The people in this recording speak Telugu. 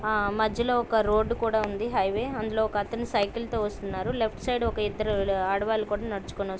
ఆ మధ్యలో ఒక రోడ్డు కూడా ఉంది హైవే. అందులో ఒక అతను సైకిల్ తో వస్తున్నారు. లెఫ్ట్ సైడ్ ఒక ఇద్దరు ఆడవాళ్లు కూడా నడుచుకు--